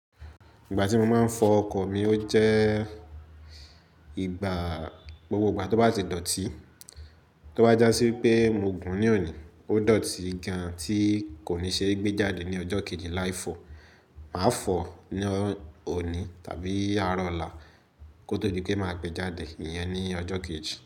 Ìgbà tí mo máa ń fọ ọkọ̀ mi ó jẹ́ ìgbà gbogbo ìgbà tó bá ti dọ̀tí. Tó bá jásí pé mo gùn ní òní, ó dọ̀tí gan tí kò ní ṣe gbé jáde ní ọjọ́ kejì láì fọ, màá fọ̀ ní òní tàbí àárọ̀ ọ̀la kó tó di pé màá gbé jáde ìyẹn ní ọjọ́ kejì.